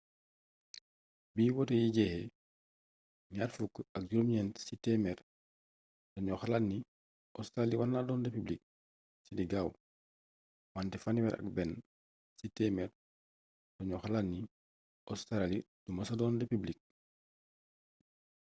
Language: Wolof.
bi wote yi jeexe 29 ci téémeer dañu xalaat ni óstraali warna doon republik ci li gaaw wanté 31 ci téemeer daañu xalaat ni óstraali du mesa doon republik